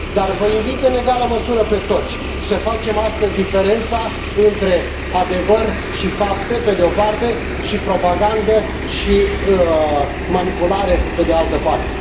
Dar vă invit în egală măsură pe toți să facem astăzi diferența între adevăr și fapte, pe de o parte, și propagandă și manipulare, pe de altă parte.